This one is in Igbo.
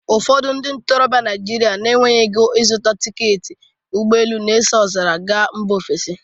Ụfọdụ ndị ntorobịa Naijiria na-enweghị ego ịzuta tiketi ụgbọelu na-eso ọzara a gaa mba ofesi